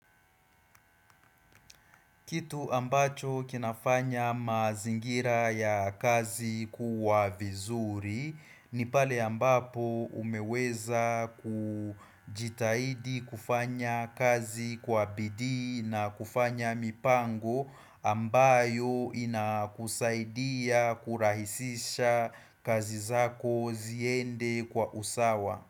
Kitu ambacho kinafanya mazingira ya kazi kuwa vizuri ni pale ambapo umeweza kujitahidi kufanya kazi kwa bidii na kufanya mipango ambayo inakuzaidia kurahisisha kazi zako ziende kwa usawa.